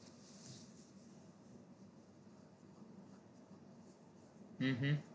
હમ હા